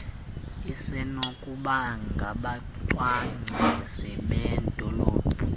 isenokuba ngabacwangcisi bedolophu